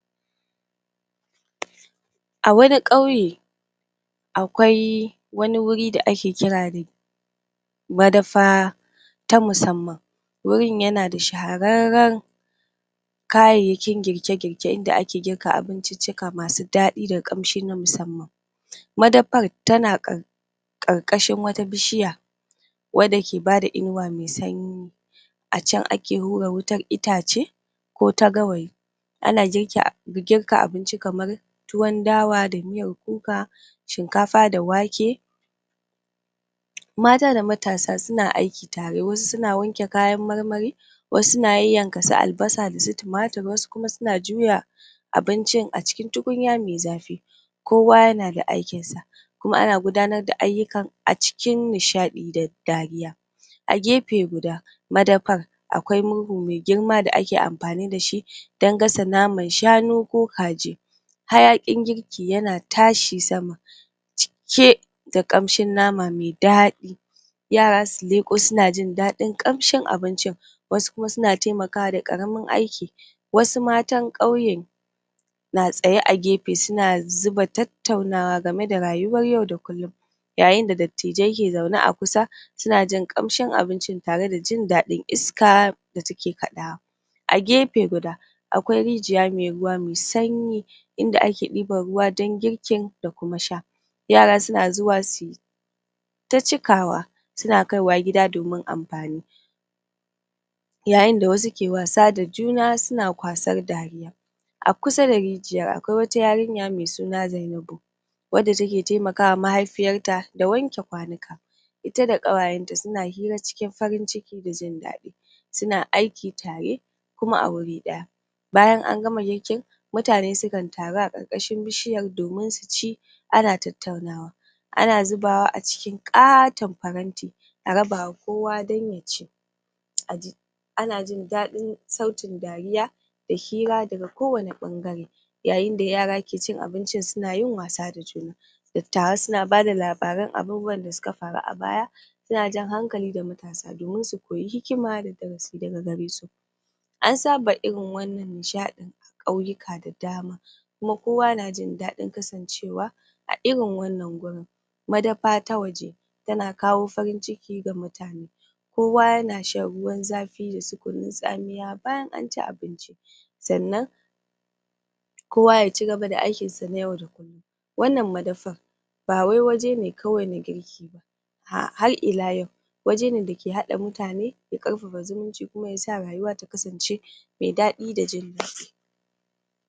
A wani ƙauye akwai wani wuri da ake kirari madafa ta musamman. wurin yana da shahararren kayayyakin girke, girke inda ake girka abincicika masu daɗi da ƙamshi na musamman Madafar tana ƙarƙashin wata bishiya wanda ke bada inuwa mai sanyi a can ake hura wutar itace ko ta gawayi ana girka abinci kamar tuwon dawa da miyar kuka shinkafa da wake. Mata da matasa suna aiki tare wasu suna wanke kaya marmari wasu suna yayyanka su albasa da tumatir wasu kuma suna juya abincin acikin tukunya mai zafi kowa yanda aikin sa kuma ana gudanar da ayyukan acikin nishaɗi da dariya. A gefe guda,, madafar akwai murhu mai girma da ake anfani da shi shi dan gasa naman shanu ko kaji hayakin girki yana tashi sama cike da ƙamshi nama mai daɗi, yara su leƙo suna jin ƙamshi abincin wasu kuma suna taimakawa da ƙaramin aiki, wasu matar ƙauye na tsaye a gefe suna zuba tattaunawa game da rayuwar yau da kullum yayin da dattijo ke zaune a kusa suna jin ƙamshin abincin tare da jin daɗin iska da take ƙadawa. A gefe guda akwai rijiya mai sanyi inda ake ɗiban ruwa dan girkin da kuma sha.. Yara suna zuwa suyita ta cikawa suna kaiwa gida domin anfani. suna kaiwa gida domin anfani yayin da wasu suke wasa da juna suna kwasar dariya. A kusa da rijiyar akwai wata yarinya mai suna Zainabu da take taimakawa maihaifiyanta da wanke kwanuka ita da ƙawayen ta suna hira cikin farin ciki da jin daɗi suna aiki tare kuma a wuri daya. Bayan an gama girkin mutane sukan taru a ƙarkashin bishiyar domin su ci ana tattaunawa Ana zubawa acikin ƙaton faranti a rabawa kowa dan yaci?, ana jin daɗin sautin dariya da hira daga kowani ɓangare yayin da yara suke cin abincin suna yin wasa da juna dattawa suna bada labaran abubuwan da suka faru a baya suan jan hankali ga matasa domin su koyi hikima da darasi daga gare su An saba irin wannan nishaɗin a ƙauyuka da dama kuma Kowa na jin daɗin kasancewa a irin wannan gurin madara ta waje tana kawo farin ciki ga mutane. Kowa yana shan ruwan zafi da su kunun tsamiya sannan kowa yaci gaba da aikin sa na yau da kullum Wannan madafar madafar ba wai waje ne kawai na girki en har ila yau waje ne dake haɗa mutane da ƙarfafa zumunci kuma yasa rayuwa ta kasance mai daɗi da jin daɗin